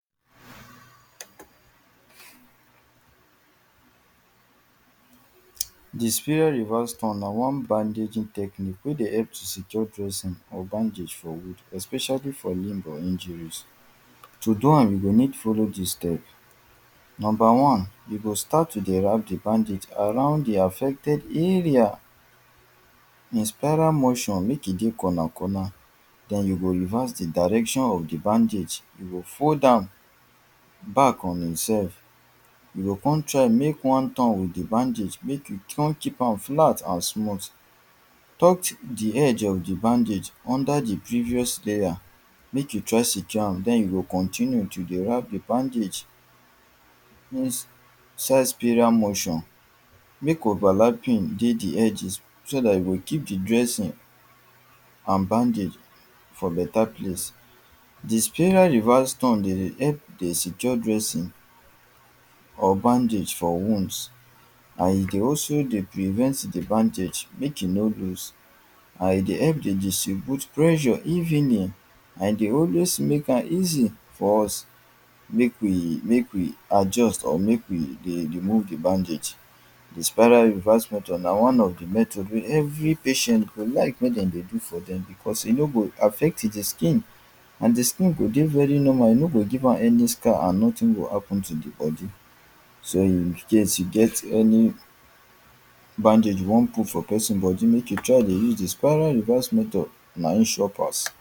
The spiral reverse turn na one bandaging technique wey dey help to secure truncing or bandages for wound especially for limb or injuries. To do am, you go need follow dis step. Number one, you go start to dey wrap the bandage around the affected area. In spiral motion make e get corner corner. Den you go reverse the direction of the bandage. You go fold am back on itself. You go con try make one turn with the bandage. Make you turn keep am flat and smooth. Taut the edge of the bandage under the previous layer make you try secure am. Den you go continue to dey wrap the bandage. Dis spiral motion make overlapping dey the edges so dat e go keep the dressing and bandage for better place. The spiral reverse turn they dey help secure dressing or bandage for wounds. And e dey also dey prevent the bandage make e no loose. And e dey help dey distribute pressure if any. And e dey always make am easy for us. Make we make we adjust or make we dey remove the bandage. The spiral reverse method na one of the method wey every patient go like make dem dey do for dem cos e no go affect the skin. And the skin go dey very normal. E no go give am any scar and nothing go happen to the body. So, if in case you get any bandage you wan put for person body, make you try dey use the spiral reverse method. Na im sure pass.